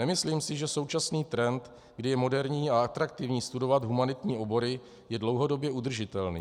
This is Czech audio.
Nemyslím si, že současný trend, kdy je moderní a atraktivní studovat humanitní obory, je dlouhodobě udržitelný.